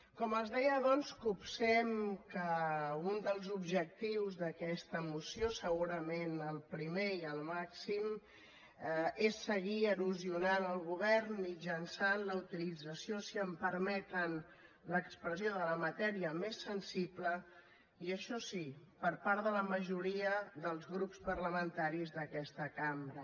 com els deia doncs copsem que un dels objectius d’aquesta moció segurament el primer i el màxim és seguir erosionant el govern mitjançant la utilització si em permeten l’expressió de la matèria més sensible i això sí per part de la majoria dels grups parlamentaris d’aquesta cambra